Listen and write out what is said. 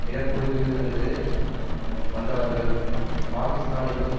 இனக்குழுவிலிருந்து வந்தவர்கள் பாகிஸ்தானிலும்